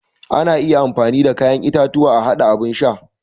Ana iya amfani da kayan itatuwa a haɗa abun sha